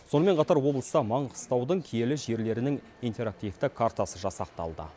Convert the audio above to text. сонымен қатар облыста маңғыстаудың киелі жерлерінің интерактивті картасы жасақталды